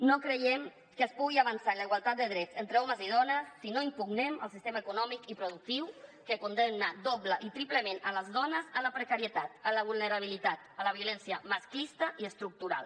no creiem que es pugui avançar en la igualtat de drets entre homes i dones si no impugnem el sistema econòmic i productiu que condemna doble i triplement les dones a la precarietat la vulnerabilitat la violència masclista i estructural